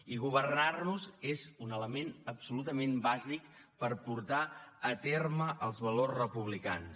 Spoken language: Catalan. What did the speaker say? i governar nos és un element absolutament bàsic per portar a terme els valors republicans